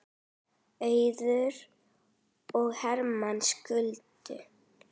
Auður og Hermann skildu.